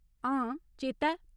हां, चेता ऐ।